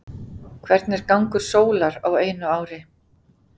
Hvernig er gangur sólar á einu ári?